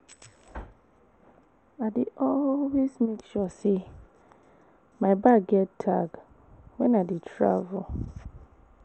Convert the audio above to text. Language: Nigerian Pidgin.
I dey always make sure sey my bag get tag wen I dey travel.